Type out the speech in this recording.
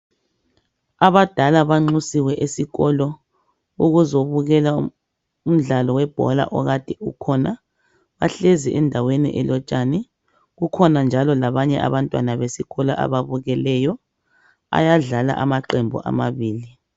Abadala banxusiwe esikolo, ukuzobukela umdlalo webhola okade ukhona, bahlezi endaweni elotshani kukhona njalo labanye abantwana besikolo ababukeleyo, ayadlala amaqembu amabili